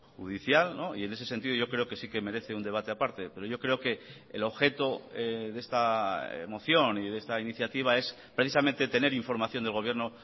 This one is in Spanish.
judicial y en ese sentido yo creo que sí que merece un debate aparte pero yo creo que el objeto de esta moción y de esta iniciativa es precisamente tener información del gobierno